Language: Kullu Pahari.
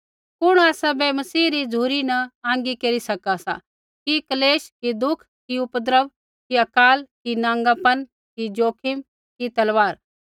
कुण आसाबै मसीह री झ़ुरी न आँगी केरी सका सा कि क्लेश कि दुःख कि उपद्रव कि अकाल कि नाँगापन कि ज़ोखिम कि तलवार